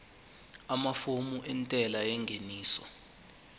amafomu entela yengeniso